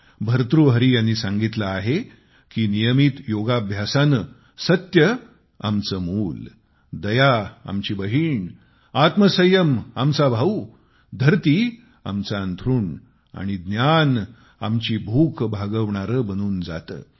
भर्तृहरी यांनी सांगितले आहे की नियमित योगाभ्यासाने सत्य आमचे मुल दया आमची बहीण आत्मसंयम आमचा भाऊ धरती आमचे अंथरूण आणि ज्ञान आमची भूक भागवणारे बनून जाते